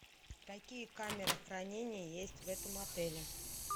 какие камеры хранения есть в этом отеле